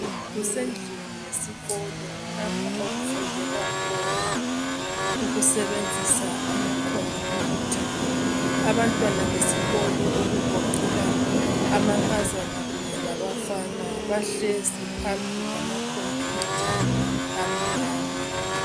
Kusendlini yesikolo lapho okufundelwa khona ukusebenzisa amakhompuyutha abantwana besikolo okugoqela amankazana kunye labafana bahlezi phambi kwamakhompuyutha amnyama.